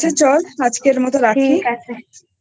ঠিক আছে চ আজকের মতো রাখি